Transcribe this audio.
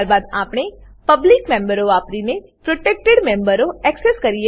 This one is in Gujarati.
ત્યારબાદ આપણે પબ્લિક મેમ્બરો વાપરીને પ્રોટેક્ટેડ મેમ્બરો એક્સેસ કરીએ છીએ